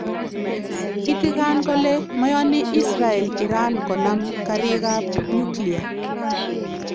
Kitigan kole : "Mayani Israel Iran konam kariikab nyuklia